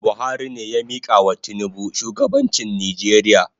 Buhari ne ya mikawa tinubu shugabanchi Nijeria